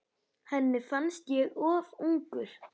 Henni fannst ég of ungur.